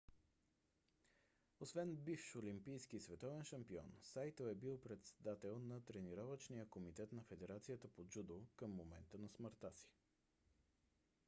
освен бивш олимпийски и световен шампион сайто е бил председател на тренировъчния комитет на федерацията по джудо към момента на смъртта си